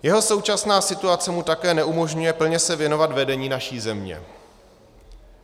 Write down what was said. Jeho současná situace mu také neumožňuje se plně věnovat vedení naší země.